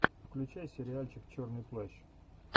включай сериальчик черный плащ